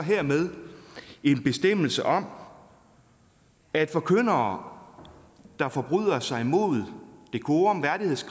hermed en bestemmelse om at forkyndere der forbryder sig imod decorumkravet